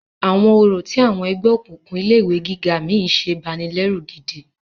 Àwọn orò tí àwọn ẹgbẹ́ òkùnkùn ilé ìwé gíga mí ń ṣe banilẹ́rù gidi.